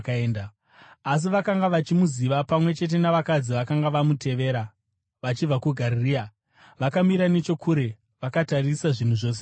Asi vakanga vachimuziva, pamwe chete navakadzi vakanga vamutevera vachibva kuGarirea, vakamira nechokure, vakatarisa zvinhu zvose izvi.